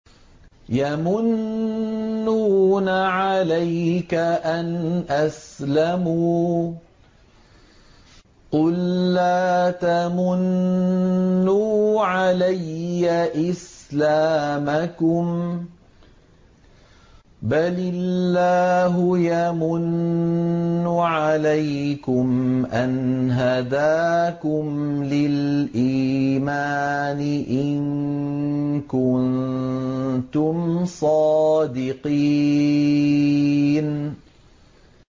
يَمُنُّونَ عَلَيْكَ أَنْ أَسْلَمُوا ۖ قُل لَّا تَمُنُّوا عَلَيَّ إِسْلَامَكُم ۖ بَلِ اللَّهُ يَمُنُّ عَلَيْكُمْ أَنْ هَدَاكُمْ لِلْإِيمَانِ إِن كُنتُمْ صَادِقِينَ